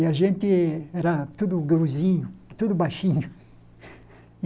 E a gente era tudo gurizinho, tudo baixinho.